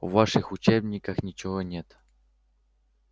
в ваших учебниках ничего нет